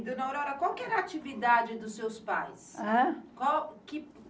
E, Dona Aurora, qual que era a atividade dos seus pais? ãhn?